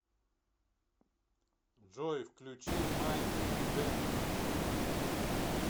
джой включи май гэнг